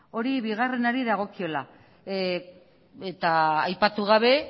hori bigarrenari dagokiola eta aipatu gabe